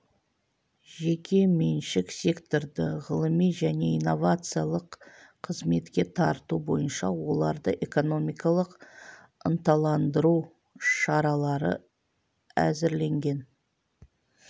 жеке меншік секторды ғылыми және инновациялық қызметке тарту бойынша оларды экономикалық ынталандыру шаралары әзірленген